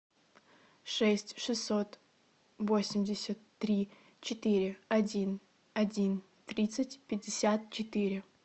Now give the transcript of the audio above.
шесть шестьсот восемьдесят три четыре один один тридцать пятьдесят четыре